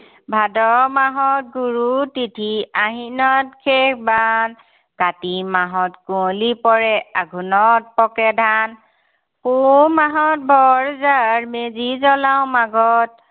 ভাদ মাহত গুৰু তিথি, আহিনত শেষ বাৰ, কাতি মাহত কুঁৱলি পৰে, আঘোণত পকে ধান। পুহ মাহত বৰ জাঁৰ, মেজি জ্বলাও মাঘত।